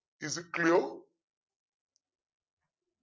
is it clear